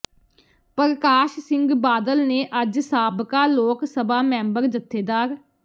ਪਰਕਾਸ਼ ਸਿੰਘ ਬਾਦਲ ਨੇ ਅੱਜ ਸਾਬਕਾ ਲੋਕ ਸਭਾ ਮੈਂਬਰ ਜਥੇਦਾਰ